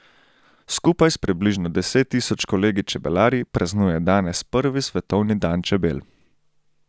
Skupaj s približno deset tisoč kolegi čebelarji praznuje danes prvi svetovni dan čebel.